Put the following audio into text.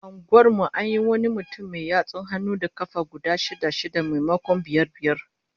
A unguwar mu an yi wani mutum mai yatsun hannu da kafa guda shida-shida, maimakon biyar biyar